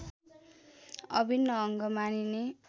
अभिन्न अङ्ग मानिने